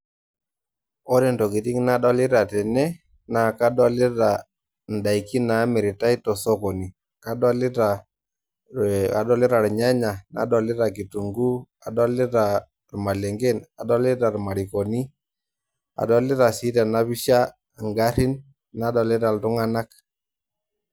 Ore ntokiting' nadolita tene naa kadolita indaikii naamiritai te sokoni. Kadolita ilnyanya, nadolita kitunguu, adolitaa ilmalengen, adolita ilmarikoni, adolita sii tena pisha ingarin nadolita iltung'ana.